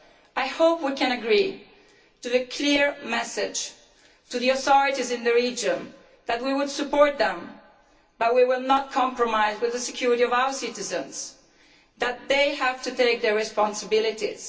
I hope we can agree on a clear message to the authorities in the region that we will support them but we will not compromise on the security of our citizens that they have to take their responsibilities.